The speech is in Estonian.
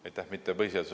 Aitäh!